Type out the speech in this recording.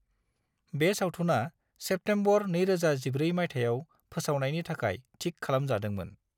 बे सावथुना सेप्टेम्बर 2014 मायथाइयाव फोसावनायनि थाखाय थिख खालामजादोंमोन।